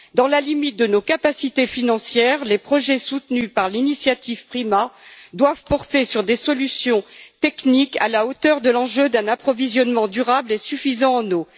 Dans la limite de nos capacités financières, les projets soutenus par l'initiative PRIMA doivent porter sur des solutions techniques à la hauteur de l'enjeu d'un approvisionnement durable et suffisant en eau.